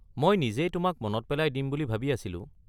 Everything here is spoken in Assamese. মই নিজেই তোমাক মনত পেলাই দিম বুলি ভাবি আছিলোঁ।